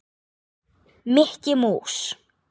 Mikki mús.